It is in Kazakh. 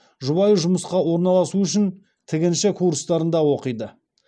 жұбайы жұмысқа орналасу үшін тігінші курстарында оқиды